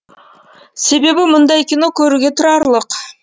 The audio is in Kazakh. себебі мұндай кино көруге тұрарлық